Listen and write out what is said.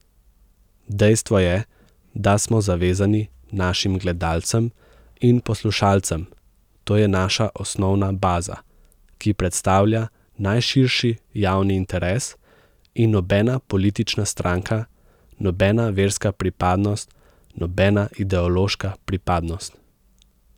Dejstvo je, da smo zavezani našim gledalcem in poslušalcem, to je naša osnovna baza, ki predstavlja najširši javni interes, in nobena politična stranka, nobena verska pripadnost, nobena ideološka pripadnost.